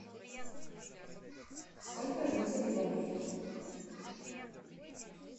сколько жителей в америке